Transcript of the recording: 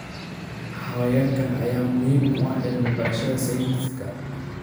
Xayawaankan ayaa muhiim u ah cilmi baarista sayniska.